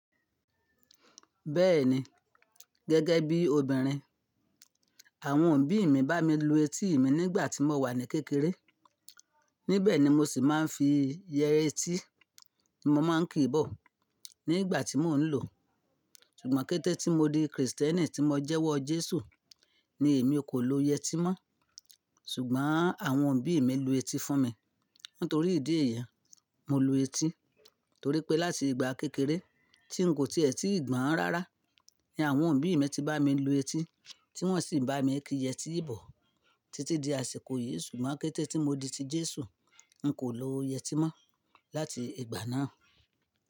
Bẹ́ẹ̀ni, gẹ́gẹ́ bí obìnrin, àwọn òbí mi bá mi lu etí mi nígbà tí mo wà ní kékeré. Níbẹ̀ ni mo sì máa ń fi yẹetí ni mo máa ń kí bọ̀ nígbà tí mò ń lò. Ṣùgbọ́n kété tí mo di Kristẹni tí mo jẹ́wọ́ Jésù ni èmi kò lo yẹtí mọ́. Ṣùgbọ́n àwọn òbí mi lu etí fún mi. Nítorí ìdí èyí, mo lu etí torí pé láti ìgbà kékeré tí n kò tíì ẹ́ ti ìgbọràn rárá ni àwọn òbí mi ti bá mi lu etí tí wọ́n sì ń bá mi kí yẹtí bọ̀ títí di àsìkò yìí. Ṣùgbọ́n kété tí mo di ti Jésù, n kò lo yẹtí mọ́ láti ìgbà náà.